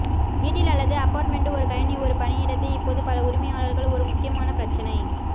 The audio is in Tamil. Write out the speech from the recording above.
வீட்டில் அல்லது அபார்ட்மெண்ட் ஒரு கணினி ஒரு பணியிடத்தை இப்போது பல உரிமையாளர்கள் ஒரு முக்கியமான பிரச்சினை